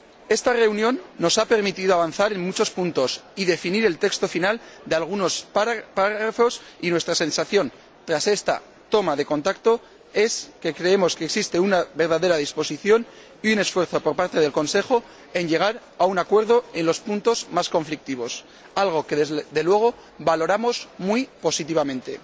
Esta reunión nos ha permitido avanzar en muchos puntos y definir el texto final de algunos párrafos, y nuestra sensación tras esta toma de contacto es que creemos que existe una verdadera disposición y un esfuerzo por parte del Consejo en llegar a un acuerdo en los puntos más conflictivos, algo que, desde luego, valoramos muy positivamente.